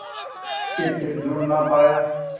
के फिर जुड़ ना पाया